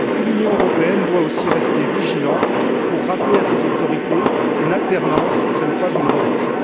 Puis, l'Union européenne doit aussi rester vigilante pour rappeler à ses autorités qu'une alternance, ce n'est pas une revanche.